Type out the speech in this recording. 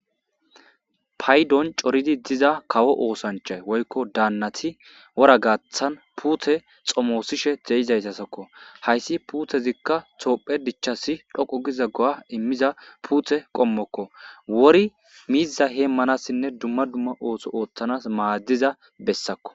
paydon coridi diza kawo oosancha woykko daannati wora gaathan puute xomoosishe deyizaytasakko hayssi puutezikka toophe dichasi dhoqo giza go7a immiza puute qommokko wori mizza heemmanassinne dumma dumma ooso ooththanas maaddiza bessakko